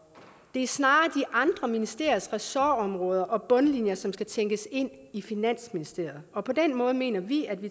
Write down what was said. det er snarere de andre ministeriers ressortområder og bundlinjer som skal tænkes ind i finansministeriet og på den måde mener vi at vi